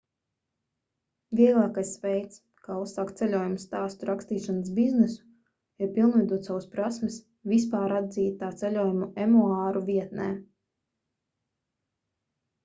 vieglākais veids kā uzsākt ceļojumu stāstu rakstīšanas biznesu ir pilnveidot savas prasmes vispāratzītā ceļojumu emuāru vietnē